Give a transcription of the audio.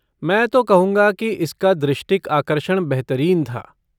मैं तो कहूँगा कि इसका दृष्टिक आकर्षण बहतरीन था।